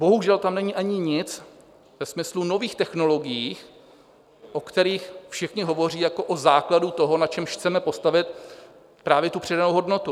Bohužel tam není ani nic ve smyslu nových technologií, o kterých všichni hovoří jako o základu toho, na čemž chceme postavit právě tu přidanou hodnotu.